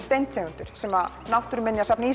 steintegundir sem náttúrugripasafnið